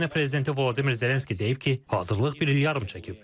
Ukrayna prezidenti Vladimir Zelenski deyib ki, hazırlıq bir il yarım çəkib.